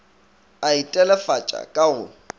a e telefatša ka go